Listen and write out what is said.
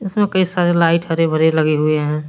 इसमे कई सारे लाइट हरे भरे लगे हुए है।